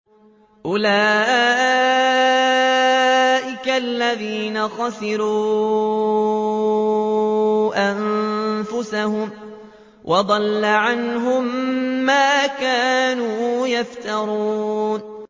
أُولَٰئِكَ الَّذِينَ خَسِرُوا أَنفُسَهُمْ وَضَلَّ عَنْهُم مَّا كَانُوا يَفْتَرُونَ